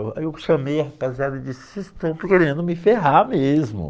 Aí eu chamei a rapaziada e disse, vocês estão querendo me ferrar mesmo.